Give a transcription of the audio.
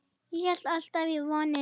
Ég hélt alltaf í vonina.